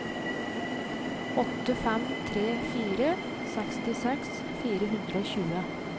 åtte fem tre fire sekstiseks fire hundre og tjue